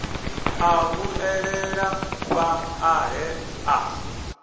ḽa vhuelela fhaḽa he a